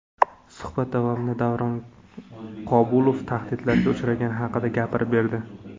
Suhbat davomida Davron Qobulov tahdidlarga uchragani haqida gapirib berdi.